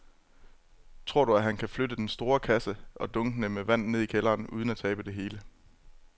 Tror du, at han kan flytte den store kasse og dunkene med vand ned i kælderen uden at tabe det hele?